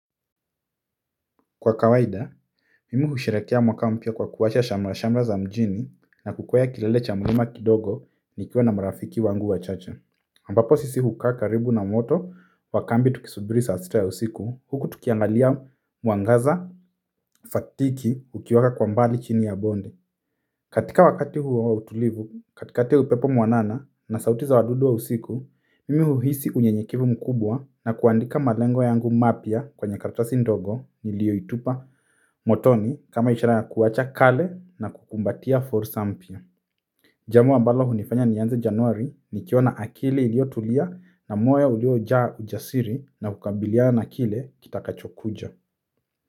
Kwa kawaida, mimi husherehekea mwaka mpya kwa kuwasha shamra-shamra za mjini na kukweya kilele cha mlima kidogo nikiwa na marafiki wangu wachache. Ambapo sisi hukaa karibu na moto wa kambi tukisubiri saa sita ya usiku huku tukiangalia mwangaza fatiki ukiwaka kwa mbali chini ya bonde. Katika wakati huo wa utulivu, katikati ya upepo mwanana na sauti za wadudu wa usiku, mimi huhisi unyenyekevu mkubwa na kuandika malengo yangu mapya kwenye karatasi ndogo niliyoitupa motoni kama ishara ya kuwacha kale na kukumbatia fursa mpya. Jambo ambalo hunifanya nianze januari nikiwa na akili iliyo tulia na moyo uliojaa ujasiri na kukabiliana na kile kitakacho kuja.